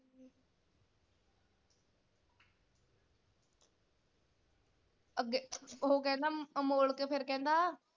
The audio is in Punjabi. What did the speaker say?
ਅੱਗੇ ਉਹ ਕਹਿੰਦਾ ਅਮੋਲਕ ਫਿਰ ਕਹਿੰਦਾ,